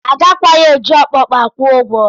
Agakwaghị eji okpokpo kwụọ ụgwọ.